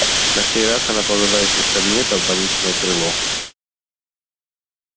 на сей раз она повела их не в кабинет а в больничное крыло